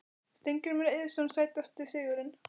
Steingrímur Eiðsson Sætasti sigurinn?